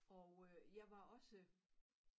Og øh jeg var også